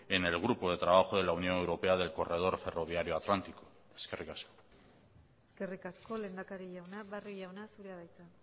en el grupo de trabajo de la unión europea del corredor ferroviario atlántico eskerrik asko eskerrik asko lehendakari jauna barrio jauna zurea da hitza